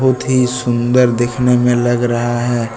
अति सुंदर दिखने में लग रहा है।